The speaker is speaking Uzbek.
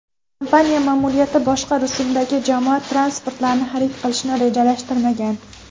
Kompaniya ma’muriyati boshqa rusumdagi jamoat transportlarini xarid qilishni rejalashtirmagan.